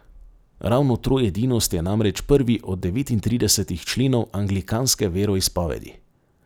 Ravno troedinost je namreč prvi od devetintridesetih členov anglikanske veroizpovedi.